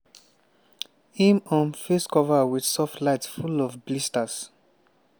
im um face cover wit soft light full of blisters.